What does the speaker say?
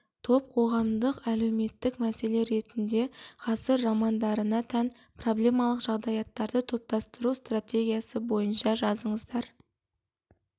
топ қоғамдық әлеуметтік мәселе ретінде ғасыр романдарына тән проблемалық жағдаяттарды топтастыру стратегиясы бойынша жазыңыздар